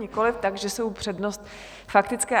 Nikoliv, takže jsou přednost... faktické.